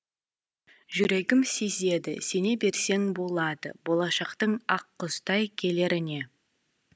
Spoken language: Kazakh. жүрегім сезеді сене берсең болады болашақтың ақ құстай келеріне